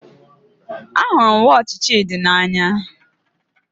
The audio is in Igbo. Ahụrụ m wọọchi Chidi n'anya